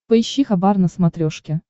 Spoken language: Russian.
поищи хабар на смотрешке